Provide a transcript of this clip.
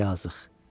Yazıq.